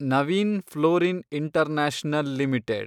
Naveen fluorine international limited